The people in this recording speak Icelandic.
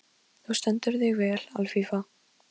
Kannski var hún innst inni ástfangin af honum.